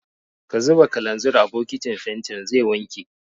Ka zuba kalanzir a bokitin fentin zai wanke!